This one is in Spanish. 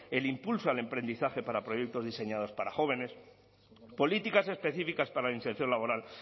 el impulso al emprendizaje para proyectos diseñados para jóvenes políticas específicas para la inserción laboral